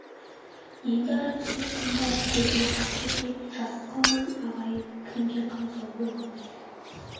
енді ара түсер кім бар көзіне қамшы тиіп жасып қалған ағайын кімге қамсау болғандай